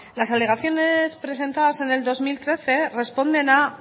las alegaciones presentadas en el dos mil trece responden a